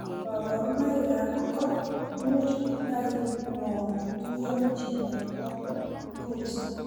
Kabarunoikab ko much kotai ngo tuyo chito ak koristo.